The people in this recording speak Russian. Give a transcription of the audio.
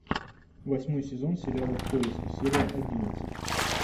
восьмой сезон сериала в поиске серия одиннадцать